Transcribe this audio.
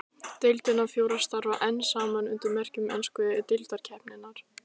Deildirnar fjórar starfa enn saman undir merkjum ensku deildarkeppninnar.